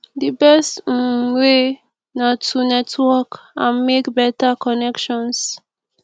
di best um way na to network and make beta connections